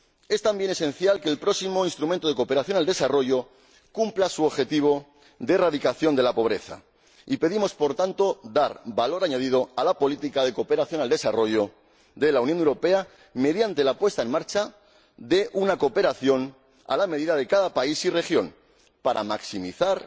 Es también esencial que el próximo Instrumento de Cooperación al Desarrollo cumpla su objetivo de erradicación de la pobreza, y pedimos, por tanto, dar valor añadido a la política de cooperación al desarrollo de la Unión Europea mediante la puesta en marcha de una cooperación a la medida de cada país y región, con objeto de maximizar